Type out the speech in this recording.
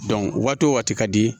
waati wo waati ka di